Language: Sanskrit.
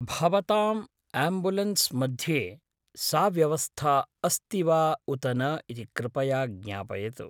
भवतां आम्बुलेन्स् मध्ये सा व्यवस्था अस्ति वा उत न इति कृपया ज्ञापयतु।